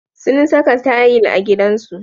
Sun saka tayil a gidansu.